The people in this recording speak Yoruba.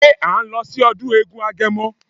Ṣé à ń lọ sí ọdún eégún agẹmọ?